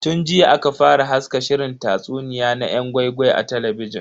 Tun jiya aka fara haska shirin tatsuniya na yan gwai-gwai a talabijin.